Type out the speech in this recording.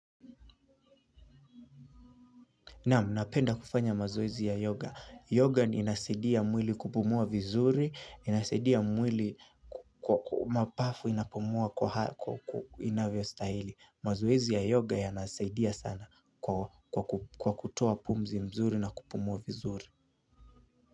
Naam, napenda kufanya mazoezi ya yoga. Yoga ndio inasaidia mwili kupumua vizuri, inasaidia mwili kwa mapafu inapumua kwa inavyostahili. Mazoezi ya yoga yanasaidia sana kwa kutoa pumzi mzuri na kupumua vizuri.